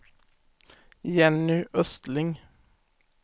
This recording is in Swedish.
Jenny Östling